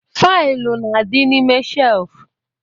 Faịlụ na-adi n'ime shelfu